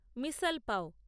মিশাল পাও